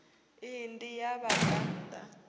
iyi ndi ya vhabvann ḓa